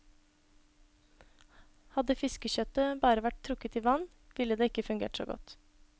Hadde fiskekjøttet bare vært trukket i vann, ville det ikke fungert så godt.